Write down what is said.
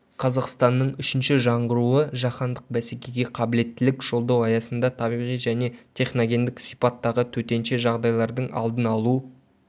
қазақстанның үшінші жаңғыруы жаһандық бәсекеге қабілеттілік жолдау аясында табиғи және техногендік сипаттағы төтенше жағдайлардың алдын алу